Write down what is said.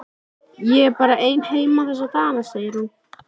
Ég er bara ein heima þessa dagana, segir hún.